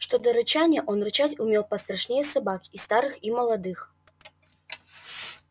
что до рычания он рычать он умел пострашнее собак и старых и молодых